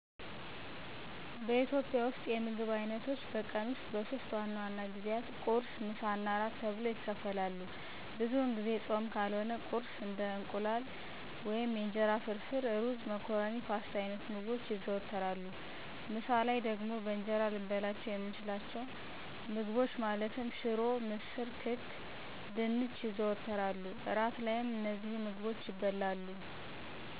በኢትዮጵያ ውስጥ የምግብ አይነቶች በቀን ውስጥ በሶስት ዋና ዋና ጊዜያት ቁርስ፣ ምሳ እና እራት ተብለው ይከፈላሉ። ብዙውን ጊዜ ፆም ካልሆነ ቁርስ እንደ የእንቁላል ወይም የእንጀራ ፍርፍር፣ ሩዝ፣ መኮረኒ ፓስታ አይነት ምግቦች ይዘወተራሉ። ምሳ ላይ በእንጀራ ልንበላቸው የምንችላቸውን ምግቦች ማለትም ሽሮ፣ ምስር፣ ክክ፣ ድንች ይዘወተራሉ። እራት ላይም እነዚሁ ምግቦች ይበላሉ።